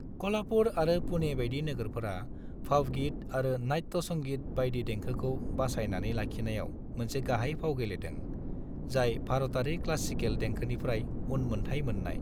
क'ल्हापुर आरो पुणे बायदि नोगोरफोरा भावगीत आरो नाट्य संगीत बायदि देंखोखौ बासायनानै लाखिनायाव मोनसे गाहाय फाव गेलेदों, जाय भारतारि क्लासिकेल देंखोनिफ्राय उन मोन्थाय मोननाय।